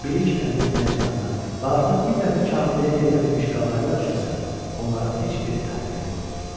Bilik əldə etməyə can atan, amma artıq bir dəfə kamilliyə yetə bilmiş qağayılar üçünsə, onların heç bir əhəmiyyəti yoxdur.